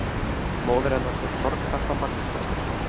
Móðir hennar hét Þorkatla Magnúsdóttir.